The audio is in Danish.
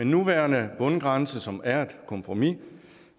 nuværende bundgrænse som er et kompromis